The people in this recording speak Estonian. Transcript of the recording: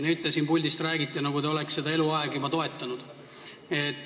Nüüd te siit puldist räägite, nagu te oleksite seda juba eluaeg toetanud.